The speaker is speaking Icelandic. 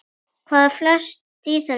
Hvað felst í þessu?